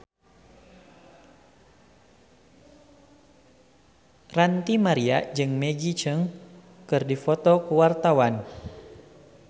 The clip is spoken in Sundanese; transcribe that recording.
Ranty Maria jeung Maggie Cheung keur dipoto ku wartawan